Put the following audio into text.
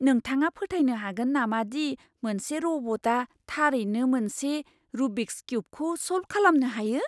नोंथाङा फोथायनो हागोन नामा दि मोनसे रबटआ थारैनो मोनसे रुबिक्स किउबखौ सल्भ खालामनो हायो?